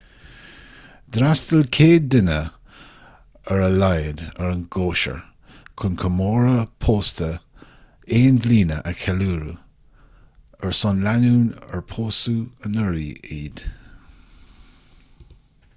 d'fhreastail 100 duine ar a laghad ar an gcóisir chun comóradh pósta aon bhliana a cheiliúradh ar son lánúin ar pósadh anuraidh iad